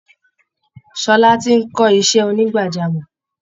Ṣọlá ti ń kọ́ iṣẹ́ onígbàjámọ̀